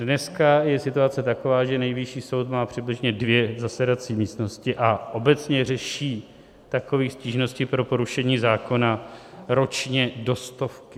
Dneska je situace taková, že Nejvyšší soud má přibližně dvě zasedací místnosti a obecně řeší takových stížností pro porušení zákona ročně do stovky.